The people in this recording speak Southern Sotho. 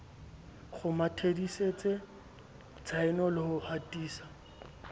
kgomathisetse tshaeno le ho hatisa